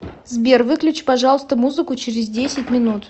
сбер выключи пожалуйста музыку через десять минут